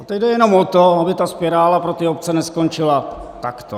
A teď jde jenom o to, aby ta spirála pro ty obce neskončila takto.